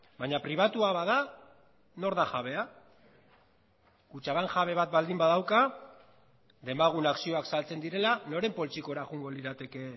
baina pribatua bada nor da jabea kutxabank jabe bat baldin badauka demagun akzioak saltzen direla noren poltsikora joango lirateke